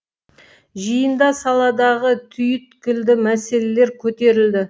жиында саладағы түйіткілді мәселелер көтерілді